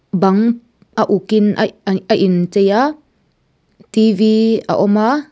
bang a uk in aih a in chei a a awm a.